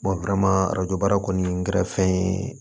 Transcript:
arajo baara kɔni kɛra fɛn ye